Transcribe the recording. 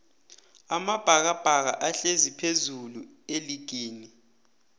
amabhakabhaka ahlezi phezullu eligini